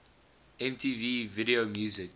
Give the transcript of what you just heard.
mtv video music